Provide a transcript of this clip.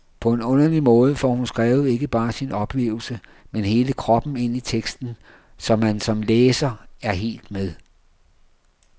På en underlig måde får hun skrevet ikke bare sin oplevelse, men hele kroppen ind i teksten, så man som læser er helt med.